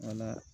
Wala